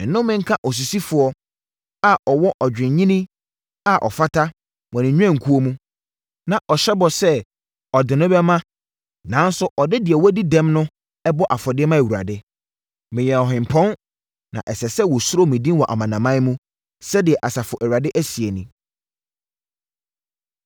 “Nnome nka osisifoɔ a ɔwɔ odwennini a ɔfata wɔ ne nnwankuo mu, na ɔhyɛ bɔ sɛ ɔde no bɛma nanso ɔde deɛ wadi dɛm na ɛbɔ afɔdeɛ ma Awurade. Meyɛ ɔhempɔn, na ɛsɛ sɛ wɔsuro me din wɔ amanaman mu,” sɛdeɛ Asafo Awurade seɛ nie.